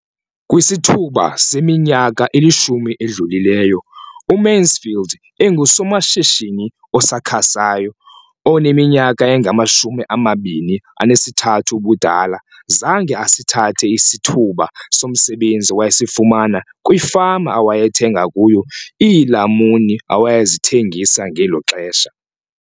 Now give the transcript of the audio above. Kwisithuba seminyaka elishumi edlulileyo, uMansfield engusomashishini osakhasayo oneminyaka engama-23 ubudala, zange asithathe isithuba somsebenzi awayesifumana kwifama awayethenga kuyo iilamuni awayezithengisa ngelo xesha.